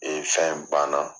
Ee fɛn banna